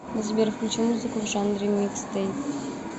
сбер включи музыку в жанре микстейп